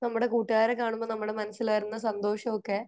നമ്മുടെ കൂട്ടുകാരെ കാണുമ്പോ നമ്മൾ മനസ്സിൽ വരുന്ന സന്തോഷം ഒക്കെ